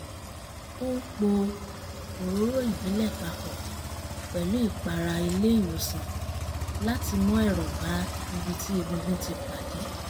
ó ń po òróró ìbílẹ̀ papọ̀ pẹ̀lú ìpara ilé ìwòsàn láti mú ẹ̀rọ̀ bá ibi tí egungun ti pàdé